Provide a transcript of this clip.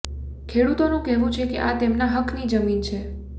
ખેડૂતોનું કહેવું છે કે આ તેમના હકની જમીન છે